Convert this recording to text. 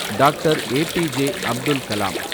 Doctor APJ. Abdul Kalam